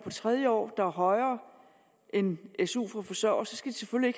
tredje år der er højere end su for forsørgere skal de selvfølgelig